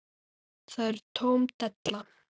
Það er tóm della.